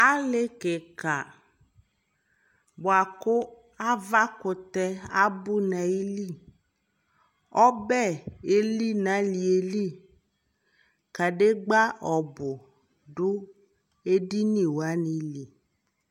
ali kikaa bʋakʋ aɣa kʋtɛ abʋ nʋ ayili, ɔbɛ ɛli nʋ aliɛ li, kadigba ɔbʋ dʋ ɛdini wani li